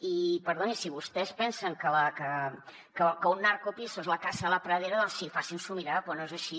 i perdoni si vostès pensen que un narcopiso es la casa de la pradera doncs sí facins’ho mirar però no és així